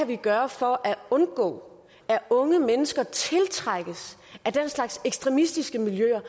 kan gøre for at undgå at unge mennesker tiltrækkes af den slags ekstremistiske miljøer